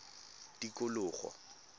tikologo